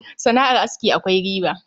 Sana'ar aski akwai riba